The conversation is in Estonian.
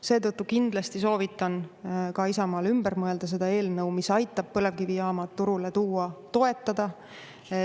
Seetõttu kindlasti soovitan ka Isamaal ümber mõelda ja seda eelnõu, mis aitab põlevkivijaamad turule tuua, toetada.